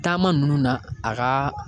Taama nunnu na a ka